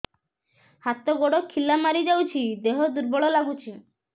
ହାତ ଗୋଡ ଖିଲା ମାରିଯାଉଛି ଦେହ ଦୁର୍ବଳ ଲାଗୁଚି